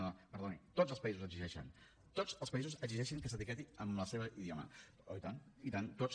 no no perdoni tots els països ho exigeixen tots els països exigeixen que s’etiquetin en el seu idioma oh i tant i tant tots